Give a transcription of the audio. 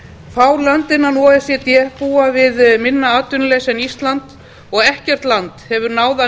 fá lönd innan o e c d búa við minna atvinnuleysi en ísland og ekkert land hefur náð að